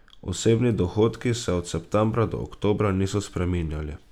Osebni dohodki se od septembra do oktobra niso spreminjali.